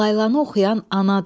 Laylanı oxuyan anadır.